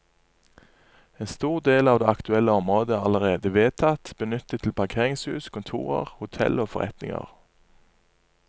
En stor del av det aktuelle området er allerede vedtatt benyttet til parkeringshus, kontorer, hotell og forretninger.